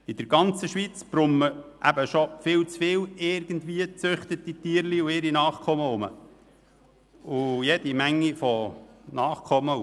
In der ganzen Schweiz brummen schon viel zu viele gezüchtete Tierchen, ihre Nachkommen und Bastarde herum.